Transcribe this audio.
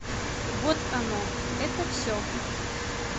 вот оно это все